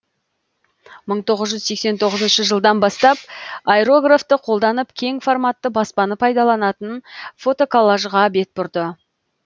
мың тоғыз жүз сексен тоғызыншы жылдан бастап аэрографты қолданып кең форматты баспаны пайдаланатын фотоколлажға бет бұрды